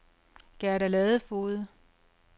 Gerda Ladefoged